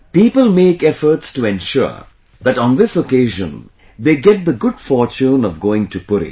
People make efforts to ensure that on this occasion they get the good fortune of going to Puri